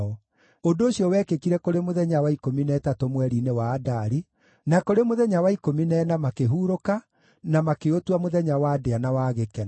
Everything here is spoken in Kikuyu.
Ũndũ ũcio wekĩkire kũrĩ mũthenya wa ikũmi na ĩtatũ mweri-inĩ wa Adari, na kũrĩ mũthenya wa ikũmi na ĩna makĩhurũka, na makĩũtua mũthenya wa ndĩa na wa gĩkeno.